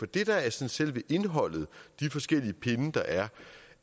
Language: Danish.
det der er selve indholdet de forskellige pinde der er